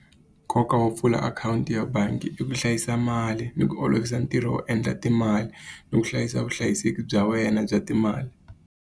Nkoka wo pfula akhawunti ya bangi i ku hlayisa mali, ni ku olovisa ntirho wo endla timali, ni ku hlayisa vuhlayiseki bya wena bya timali.